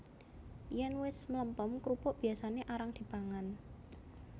Yèn wis mlempem krupuk biyasané arang dipangan